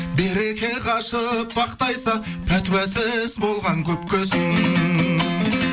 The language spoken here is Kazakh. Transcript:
береке қашып бақ тайса пәтуасыз болған көпке сын